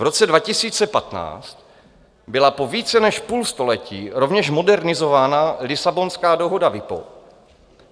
V roce 2015 byla po více než půl století rovněž modernizována Lisabonská dohoda WIPO.